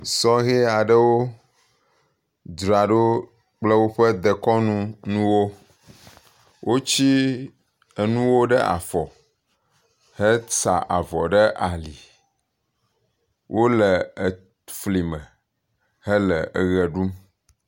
sɔhɛ aɖewo dzraɖo kple wóƒe dekɔnu nuwo wotsi enuwo ɖe afɔ he se avɔ ɖe ali wóle eflime hele eɣe ɖum